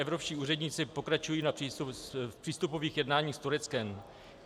Evropští úředníci pokračují v přístupových jednáních s Tureckem.